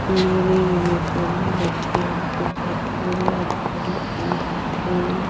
नीले यूनिफॉर्म में बच्चे यहां पे पढ़ते हुए करते हुए--